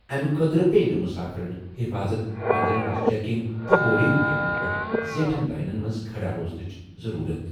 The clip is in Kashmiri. اَمہِ خٲطرٕ پیٚیہِ نہٕ مُسافِرن حِفاظت، پنجرن ہِنٛز چیکنگ تہٕ بورڈنگ گیٹَن پٮ۪ٹھ زیٹھٮ۪ن لٲنن منٛز کھڑا روزٕنٕچ ضروٗرت۔